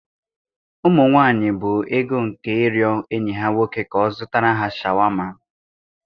Ụmụ nwanyị bụ ego nke ịrịọ enyi ha nwoke ka ọ zụtara ha shawarma.